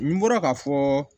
N bɔra k'a fɔ